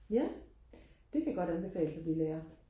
ja det kan godt anbefales og blive lærer